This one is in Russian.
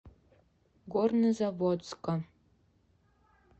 горнозаводска